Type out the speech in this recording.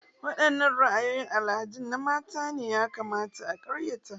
Wadanne ra'ayoyin al'adu na mata ne ya kamata a karyata?